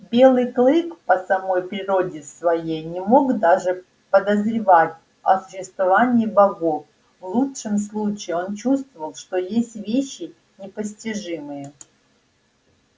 белый клык по самой природе своей не мог даже подозревать о существовании богов в лучшем случае он чувствовал что есть вещи непостижимые